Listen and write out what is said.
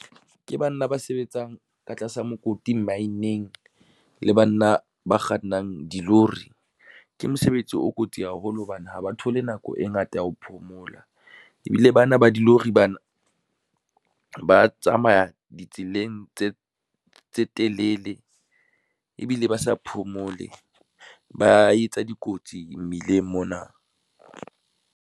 Ke banna ba sebetsang ka tlasa mokoti mmaeneng le banna ba kgannang dilori. Ke mosebetsi o kotsi haholo hobane ha ba thole nako e ngata ya ho phomola, ebile bana ba dilori bana, ba tsamaya ditseleng tse telele ebile ba sa phomole, ba etsa dikotsi mmileng mona.